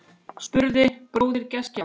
spurði bróðir gestgjafans